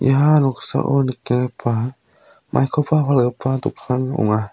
ia noksao nikenggipa maikoba palgipa dokan ong·a.